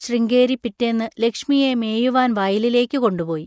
ശൃംഗേരി പിറ്റേന്ന് ലക്ഷ്മിയെ മേയുവാൻ വയലിലേയ്ക്ക് കൊണ്ടുപോയി.